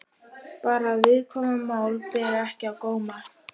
Bara að viðkvæm mál beri ekki á góma.